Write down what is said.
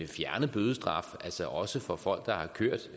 fjerne bødestraf altså også for folk der har kørt